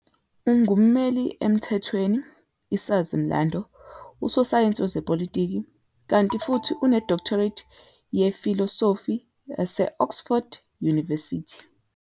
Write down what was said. Ungummmeli emthethweni, isazi-mlando, usosayensi wezepolitiki, kanti futhi une-doctorate yefilosofi yase-Oxford University.